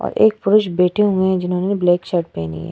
और एक पुरुष बैठे हुए है। जिन्होंने ब्लैक शर्ट पेहनी हुई है।